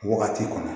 Wagati kɔnɔ